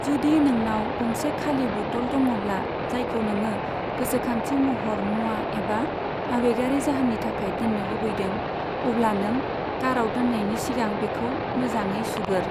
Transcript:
जुदि नोंनाव गंसे खालि बतल दङ'ब्ला जायखौ नोङो गोसोखांथि महर मुवा एबा आबेगारि जाहोननि थाखाय दोननो लुबैदों, अब्ला नों काराव दोननायनि सिगां बेखौ मोजाङै सुगोर।